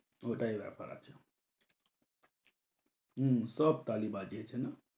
ওটাই ব্যাপার আছে। হম সব তালি বাজিয়েছে না?